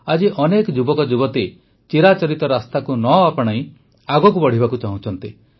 ଆଜି ବହୁତ ଯୁବକ ଯୁବତୀ ଚିରାଚରିତ ରାସ୍ତାକୁ ନ ଆପଣାଇ ଆଗକୁ ବଢ଼ିବାକୁ ଚାହୁଁଛନ୍ତି